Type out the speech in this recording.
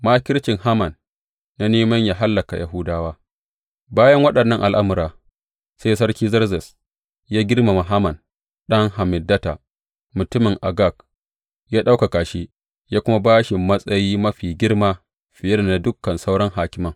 Makircin Haman na neman yă hallaka Yahudawa Bayan waɗannan al’amura, sai Sarki Zerzes ya girmama Haman ɗan Hammedata, mutumin Agag, ya ɗaukaka shi, ya kuma ba shi matsayi mafi girma fiye da na dukan sauran hakiman.